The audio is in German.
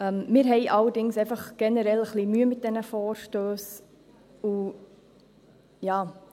Wir haben allerdings einfach generell ein wenig Mühe mit diesen Vorstössen.